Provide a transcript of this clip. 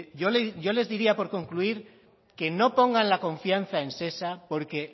yo les diría por concluir que no pongan la confianza en shesa porque